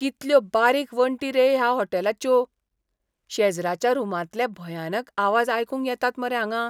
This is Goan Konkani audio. कितल्यो बारीक वण्टी रे ह्या होटॅलाच्यो. शेजराच्या रुमांतले भयानक आवाज आयकूंक येतात मरे हांगां.